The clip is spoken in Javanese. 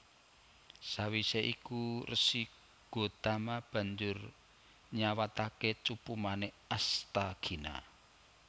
Sawisé iku Resi Gotama banjur nyawataké cupu manik Asthagina